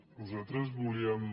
nosaltres volíem